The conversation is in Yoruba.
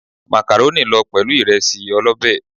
Màkàrónì lọ pẹ̀lú ìresí ọlọ́bé.